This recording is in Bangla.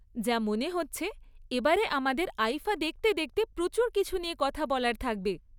যা মনে হচ্ছে, এবারে আমাদের আইফা দেখতে দেখতে প্রচুর কিছু নিয়ে কথা বলার থাকবে।